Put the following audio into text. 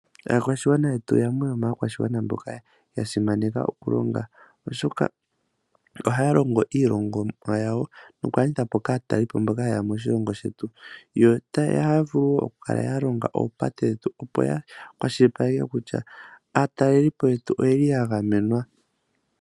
Aakwashigwana yetu oyo yamwe yomaakwashigwana mboka ya simaneka oku longa, oshoka ohaya longo iilongomwa yawo, moku landitha kaatalelipo mboka yeya moshilongo shetu. Ohaya vulu wo oku longa opate dhetu opo ya kwashilipaleke kutya aatalelipo yetu oyeli ya gamenwa.